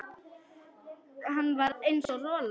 Hann var eins og rola.